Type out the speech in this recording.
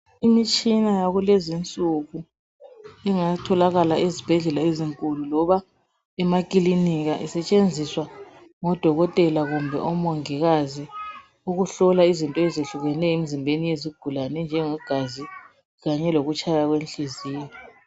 Imitshina yakulezinsuku ingatholakala ezibhedlela ezinkulu loba emakilinika isetshenziswa ngodokotela kumbe omongikazi ukuhlola izinto ezehlukeneyo emzimbeni yesigulane enjenge gazi kanye lokutshaya kwenhliziyo.